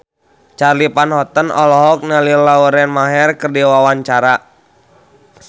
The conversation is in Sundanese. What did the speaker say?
Charly Van Houten olohok ningali Lauren Maher keur diwawancara